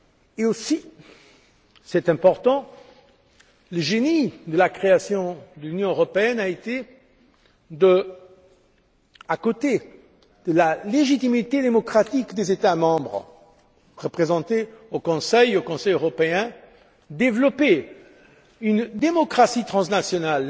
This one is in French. De plus c'est important le génie de la création de l'Union européenne a été, à côté de la légitimité démocratique des États membres représentés au Conseil, au Conseil européen, de développer une démocratie transnationale.